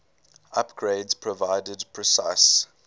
upgrades provided precise